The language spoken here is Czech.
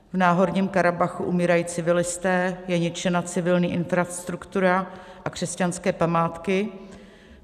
V Náhorním Karabachu umírají civilisté, je ničena civilní infrastruktura a křesťanské památky.